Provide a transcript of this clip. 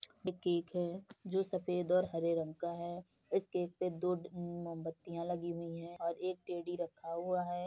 Cake है जो सफेद और हरे रंग का है। इस केक पर दो अ म मोमबतीयां लगी हुई हैं और एक टेडी रखा हुआ है।